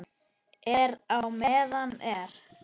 Er á meðan er.